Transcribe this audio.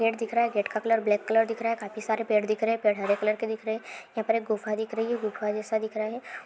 Gate दिख रहा है गेट का कलर ब्लैक कलर दिख रहा है काफी सारे पेड़ दिख रहे हैं पेड़ हरे कलर के दिख रहे हैं यहाँ पे एक गुफा दिख रही है गुफा जैसा दिख रहा है।